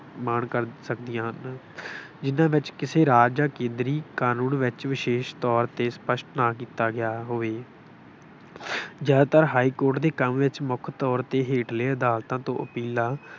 -ਮਾਣ ਕਰ ਸਕਦੀਆਂ ਹਨ। ਜਿੰਨ੍ਹਾ ਵਿੱਚ ਕਿਸੇ ਰਾਜ ਜਾਂ ਕੇਂਦਰੀ ਕਾਨੂੰਨ ਵਿੱਚ ਵਿਸ਼ੇਸ਼ ਤੌਰ ਤੇ ਸਪੱਸ਼ਟ ਨਾ ਕੀਤਾ ਗਿਆ ਹੋਵੇ। ਅਹ ਜ਼ਿਆਦਾਤਰ ਹਾਈ ਕੋਰਟ ਦੇ ਕੰਮ ਵਿੱਚ ਮੁੱਖ ਤੌਰ ਤੇ ਹੇਠਲੇ ਅਦਾਲਤਾਂ ਤੋਂ ਅਪੀਲਾਂ